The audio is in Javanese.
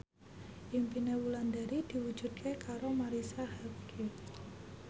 impine Wulandari diwujudke karo Marisa Haque